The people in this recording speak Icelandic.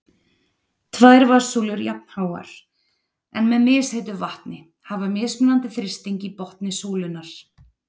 Tvær vatnssúlur jafnháar, en með misheitu vatni, hafa mismunandi þrýsting í botni súlunnar.